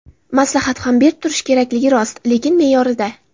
Maslahat ham berib turish kerakligi rost, lekin me’yorida.